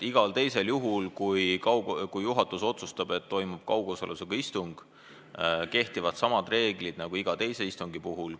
Igal juhul, kui juhatus otsustab, et toimub kaugosalusega istung, kehtivad samad reeglid nagu iga teise istungi puhul.